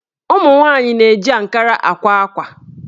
Ụmụnwaanyị na-eji ankara àkwá ákwà